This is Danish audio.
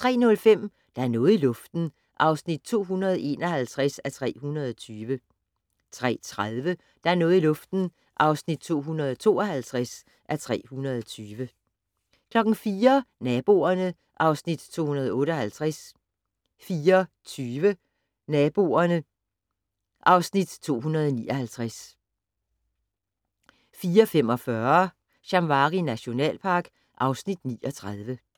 03:05: Der er noget i luften (251:320) 03:30: Der er noget i luften (252:320) 04:00: Naboerne (Afs. 258) 04:20: Naboerne (Afs. 259) 04:45: Shamwari nationalpark (Afs. 39)